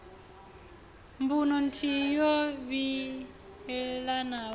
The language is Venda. mbuno nthihi yo livhanaho na